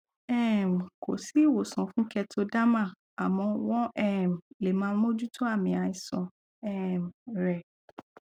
um kò sí ìwòsàn fún kertoderma àmọ wọn um lè máa mójútó àmì àìsàn um rẹ